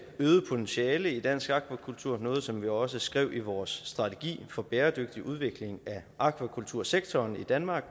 øget potentiale i dansk akvakultur noget som vi også skrev i vores strategi for bæredygtig udvikling af akvakultursektoren i danmark